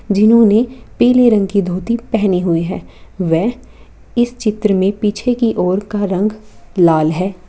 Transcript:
जिन्होंने पीले रंग की धोती पहने हुई है वे इस चित्र में पीछे की और का रंग लाल है।